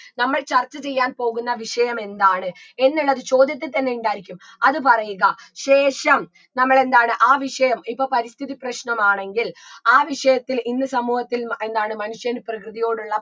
നമ്മൾ ചർച്ച ചെയ്യാൻ പോകുന്ന വിഷയം എന്താണ് എന്നുള്ളത് ചോദ്യത്തിൽ തന്നെ ഉണ്ടായിരിക്കും അത് പറയുക ശേഷം നമ്മളെന്താണ് ആ വിഷയം ഇപ്പൊ പരിസ്ഥിതി പ്രശ്നമാണെങ്കിൽ ആ വിഷയത്തിൽ ഇന്ന് സമൂഹത്തിൽ മ എന്താണ് മനുഷ്യന് പ്രകൃതിയോടുള്ള